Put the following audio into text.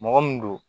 Mɔgɔ min don